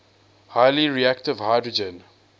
highly reactive hydrogen